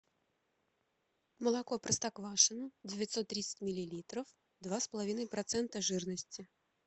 молоко простоквашино девятьсот тридцать миллилитров два с половиной процента жирности